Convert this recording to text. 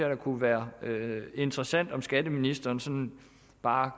at det kunne være interessant om skatteministeren sådan bare